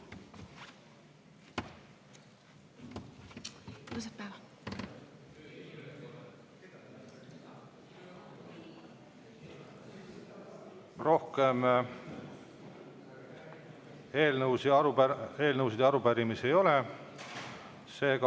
Rohkem eelnõusid ja arupärimisi ei ole.